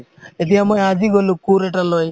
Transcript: এতিয়া মই আজি গ'লো কোৰ এটা লৈ